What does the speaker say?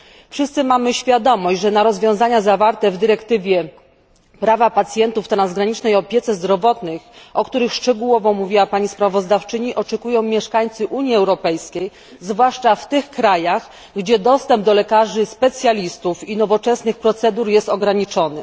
Wszyscy mamy świadomość, że na rozwiązania zawarte w dyrektywie dotyczącej praw pacjentów w transgranicznej opiece zdrowotnej, o których szczegółowo mówiła pani sprawozdawczyni, oczekują mieszkańcy Unii Europejskiej, zwłaszcza w tych krajach, gdzie dostęp do lekarzy specjalistów i nowoczesnych procedur jest ograniczony.